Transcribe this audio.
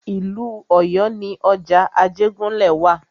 Ìlú Ọ̀yọ́ ni ọjà Ajégúnlẹ̀ wa.